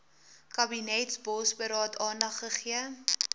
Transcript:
kabinetsbosberaad aandag gegee